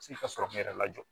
Se ka sɔrɔ mun yɛrɛ lajɔ